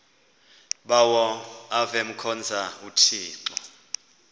bawo avemkhonza uthixo